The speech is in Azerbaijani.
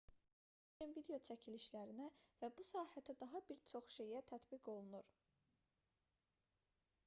normal fotoqrafçılıqla əlaqəli qaydalar həmçinin video çəkilişlərinə və bu sahədə daha bir çox şeyə tətbiq olunur